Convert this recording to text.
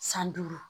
San duuru